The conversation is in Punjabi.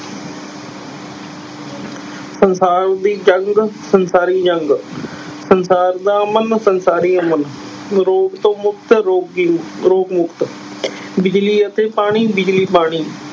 ਸੰਸਾਰ ਦੀ ਜੰਗ ਸੰਸਾਰੀ ਜੰਗ ਸੰਸਾਰ ਦਾ ਅਮਨ ਸੰਸਾਰੀ ਅਮਨ, ਰੋਗ ਤੋਂ ਮੁਕਤ ਰੋਗੀ ਮੁ ਰੋਗ ਮੁਕਤ ਬਿਜ਼ਲੀ ਅਤੇ ਪਾਣੀ ਬਿਜ਼ਲੀ ਪਾਣੀ।